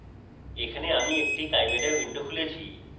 এখানে আমি একটি chimera window খুলেছি